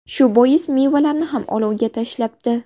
Shu bois mevalarni ham olovga tashlabdi.